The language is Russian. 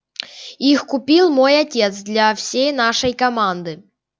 их купил мой отец для всей нашей команды